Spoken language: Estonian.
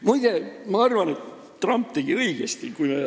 Muide, ma arvan, et Trump tegi õigesti.